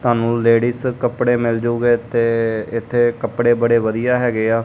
ਤੁਹਾਨੂੰ ਲੇਡੀਸ ਕੱਪੜੇ ਮਿਲ ਜੁਗੇ ਇੱਥੇ ਇੱਥੇ ਕੱਪੜੇ ਬੜੇ ਵਧੀਆ ਹੈਗੇ ਆ।